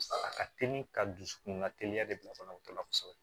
A ka teli ka dusukun ka teliya de bila banabagatɔ la kosɛbɛ